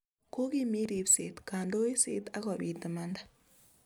Kokimiit ribset ,kondoiset ak kobiit imanda